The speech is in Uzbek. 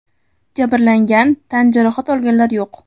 Jabrlangan, tan jarohat olganlar yo‘q.